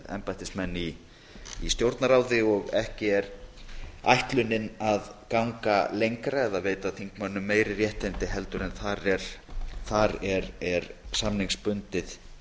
embættismenn í stjórnarráði og ekki er ætlunin að ganga lengra eða veita þingmönnum meiri réttindi en þar er samningsbundið